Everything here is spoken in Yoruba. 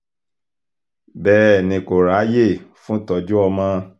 bẹ́ẹ̀ ni kò ráàyè fún ìtọ́jú ọmọ